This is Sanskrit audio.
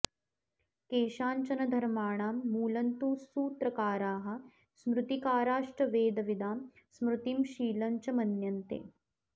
केषाञ्चन धर्माणां मूलन्तु सूत्रकाराः स्मृतिकाराश्च वेदविदां स्मृतिं शीलञ्च मन्यन्ते